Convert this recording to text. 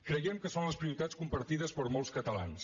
creiem que són les prioritats compartides per molts catalans